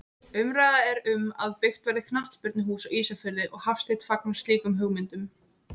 Umræða er um að byggt verði knattspyrnuhús á Ísafirði og Hafsteinn fagnar slíkum hugmyndum.